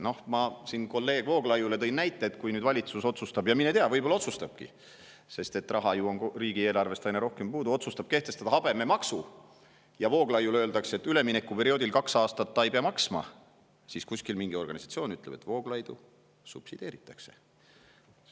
Noh, ma siin kolleeg Vooglaiule tõin näite, et kui valitsus otsustab – mine tea, võib-olla otsustabki, sest raha on ju riigieelarvest aina rohkem puudu – kehtestada habememaksu ja Vooglaiule öeldakse, et üleminekuperioodil ta kaks aastat ei pea seda maksma, siis ka kuskil mingi organisatsioon ütleb, et Vooglaidu subsideeritakse.